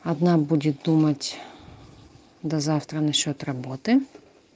одна будет думать до завтра насчёт работы